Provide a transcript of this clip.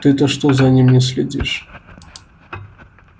ты-то что за ним не следишь